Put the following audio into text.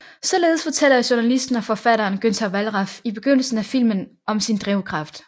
Således fortæller journalisten og forfatteren Günter Wallraff i begyndelsen af filmen om sin drivkraft